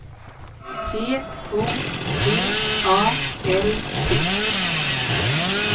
T O T A L T